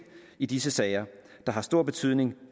i disse sager der har stor betydning